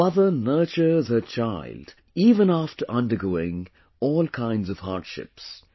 A mother nurtures her child even after undergoing all kinds of hardships